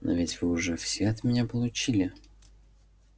но ведь вы уже все от меня получили